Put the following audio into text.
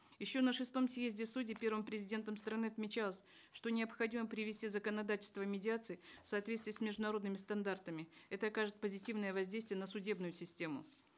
еще на шестом съезде судей первым президентом страны отмечалось что необходимо привести законодательство медиации в соответствие с международными стандартами это окажет позитивное воздействие на судебную систему